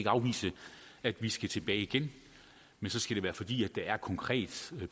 afvise at vi skal tilbage igen men så skal det være fordi der er et konkret